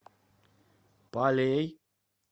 палей